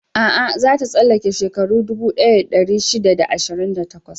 A'a, za ta tsallake shekaru dubu ɗaya da ɗari shida da ashirin da takwas.